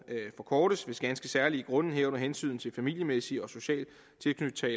forkortes hvis ganske særlige grunde herunder hensynet til familiemæssig og social tilknytning